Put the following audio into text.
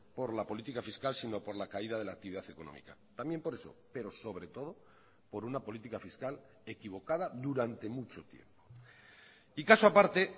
por la política fiscal sino por la caída de la actividad económica también por eso pero sobre todo por una política fiscal equivocada durante mucho tiempo y caso aparte